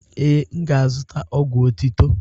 Ee, m ga-azụta ọgwụ otitọ.